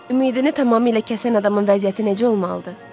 Ümidini tamamilə kəsən adamın vəziyyəti necə olmalıdır?